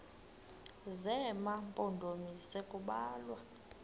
zema mpondomise kubalwa